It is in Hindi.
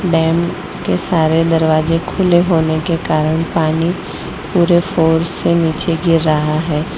डैम के सारे दरवाजे खुले होने के कारण पानी पूरे फोर्स से नीचे गिर रहा है।